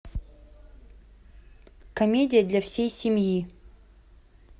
комедия для всей семьи